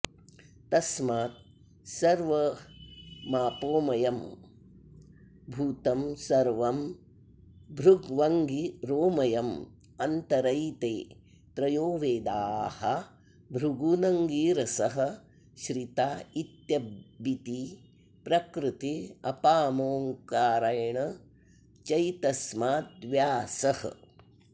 तस्मात् सर्वमापोमयं भूतं सर्वं भृग्वङ्गिरोमयं अन्तरैते त्रयो वेदा भृगूनङ्गिरसः श्रिता इत्यबिति प्रकृतिरपामोङ्कारेण चैतस्माद्व्यासः